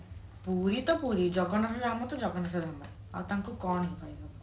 ପୁରୀ ତ ପୁରୀ ଜଗନ୍ନାଥ ଧାମ ତ ଜଗନ୍ନାଥ ଧାମ ଆଉ ତାଙ୍କୁ କଣ କହିବ